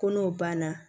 Ko n'o banna